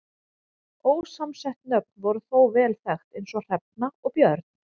Ósamsett nöfn voru þó vel þekkt eins og Hrefna og Björn.